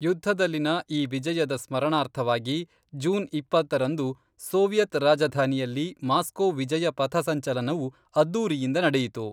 ಯುದ್ಧದಲ್ಲಿನ ಈ ವಿಜಯದ ಸ್ಮರಣಾರ್ಥವಾಗಿ ಜೂನ್ ಇಪ್ಪತ್ತರಂದು, ಸೋವಿಯತ್ ರಾಜಧಾನಿಯಲ್ಲಿ ಮಾಸ್ಕೋ ವಿಜಯ ಪಥ ಸಂಚಲನವು ಅದ್ದೂರಿಯಿಂದ ನಡೆಯಿತು